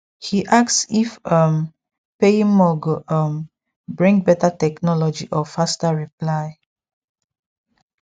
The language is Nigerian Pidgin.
he ask if um paying more go um bring better technology or faster reply